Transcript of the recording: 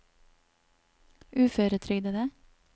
uføretrygdede